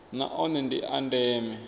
na one ndi a ndeme